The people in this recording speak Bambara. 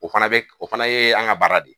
O fana o fana ye an ka baara de ye